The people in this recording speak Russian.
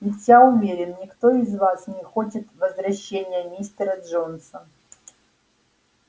ведь я уверен никто из вас не хочет возвращения мистера джонса